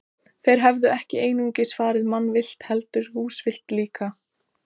Þeir hefðu ekki einungis farið mannavillt, heldur húsvillt líka.